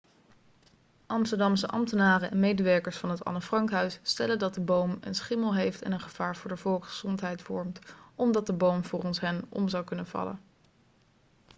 amsterdamse ambtenaren en medewerkers van het anne frank huis stellen dat de boom een schimmel heeft en een gevaar voor de volksgezondheid vormt omdat de boom volgens hen om zou kunnen vallen